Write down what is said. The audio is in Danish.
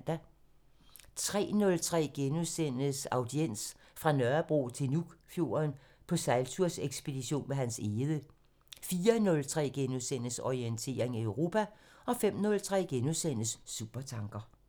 03:03: Audiens: Fra Nørrebro til Nuukfjorden – på sejltursekspedition med Hans egede * 04:03: Orientering Europa * 05:03: Supertanker *